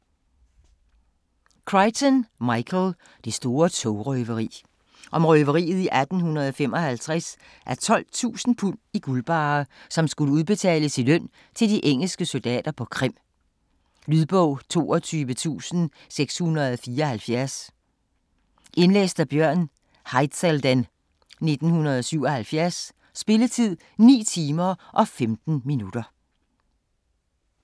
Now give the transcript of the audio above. Crichton, Michael: Det store togrøveri Om røveriet i 1855 af 12.000 pund i guldbarrer, som skulle udbetales i løn til de engelske soldater på Krim. Lydbog 22674 Indlæst af Bjørn Haizelden, 1977. Spilletid: 9 timer, 15 minutter.